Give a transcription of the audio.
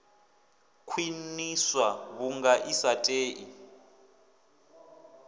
khwiṋiswa vhunga i sa tei